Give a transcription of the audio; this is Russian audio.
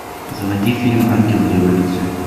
заводи фильм ангелы революции